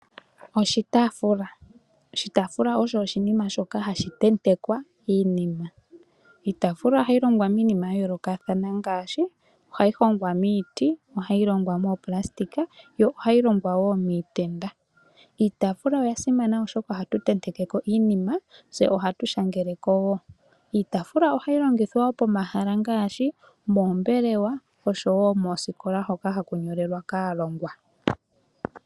Oshitafula osho oshinima shoka hashi tentekwa iinima. Iitafula ohayi longwa miinima ya yoolokathana ngaashi hayi hongwa miiti nenge moplastic nenge miitenda. Iitafula oya simana oshoka ohatu tendeke ko iinima, tse ohatu shangele ko. Iitafula oya simana pomahala ngaashi oombelewa noosikola, hoka haku nyolelwa aalongwa.